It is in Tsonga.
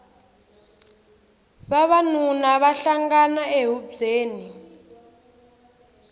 vavanuna va hlangana ehubyeni